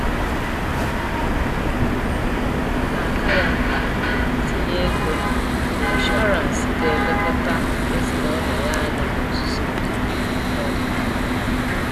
Ọ na-aka ya mkpa itinye ego n'ịshọransị ga-elekọta ezinụlọ ya anya n'ozuzu oke n'ọdịnihu